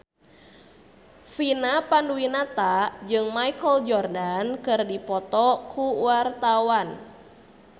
Vina Panduwinata jeung Michael Jordan keur dipoto ku wartawan